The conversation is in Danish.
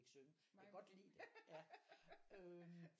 Ikke synge jeg kan godt lide det ja øh